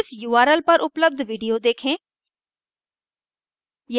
इस url पर उपलब्ध video देखें